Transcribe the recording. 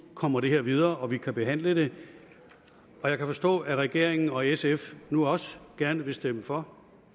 kommer det her videre og vi kan behandle det jeg kan forstå at regeringen og sf nu også gerne vil stemme for